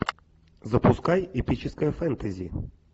запускай эпическое фэнтези